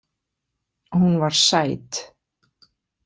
Hún var sæt.